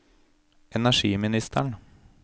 energiministeren